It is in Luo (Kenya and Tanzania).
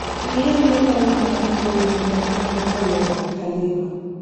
ng'i ane barua mar mbui mar email kowuok kuom Halima